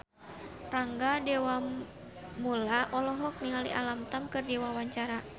Rangga Dewamoela olohok ningali Alam Tam keur diwawancara